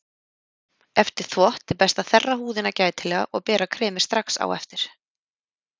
Eftir þvott er best að þerra húðina gætilega og bera kremið strax á eftir.